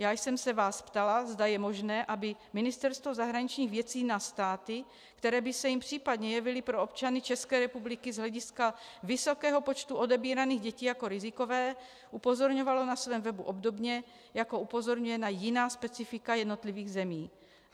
Já jsem se vás ptala, zda je možné, aby Ministerstvo zahraničních věcí na státy, které by se jim případně jevily pro občany České republiky z hlediska vysokého počtu odebíraných dětí jako rizikové, upozorňovalo na svém webu obdobně, jako upozorňuje na jiná specifika jednotlivých zemí.